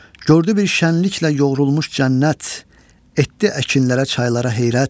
Gördü bir şənliklə yoğrulmuş cənnət, etdi əkinlərə, çaylara heyrət.